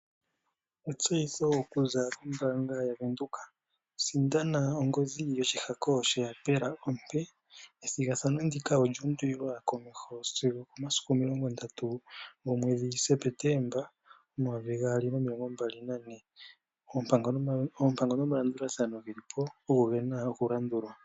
Etseyitho okuza kombaanga yaVenduka, sindana ongodhi yoshihako sheyapela ompe. Ethigathano ndika olyuundulilwa sigo okomasiku 30 September 2024 oompango nomalandulathano ogo gena okulandulwa.